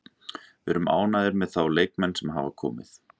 Við erum ánægðir með þá leikmenn sem hafa komið.